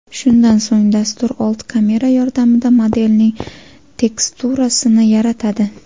Shundan so‘ng dastur old kamera yordamida modelning teksturasini yaratadi.